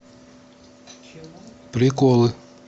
приколы